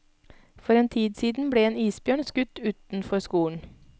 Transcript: For en tid siden ble en isbjørn skutt utenfor skolen.